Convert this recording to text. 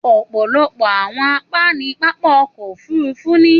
Òpọ̀lọpọ̀ àwọn àpá ní pápá ọkọ̀ òfurufú ní.